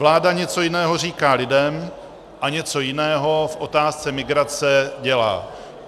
Vláda něco jiného říká lidem a něco jiného v otázce migrace dělá.